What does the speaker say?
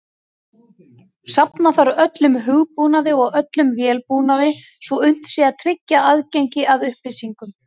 Safna þarf öllum hugbúnaði og öllum vélbúnaði svo unnt sé að tryggja aðgengi að upplýsingunum.